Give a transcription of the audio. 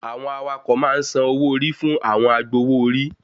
Àwọn awakọ̀ ma ń san owó orí fún àwọn agbowó orí